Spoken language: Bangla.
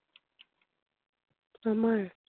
আমার?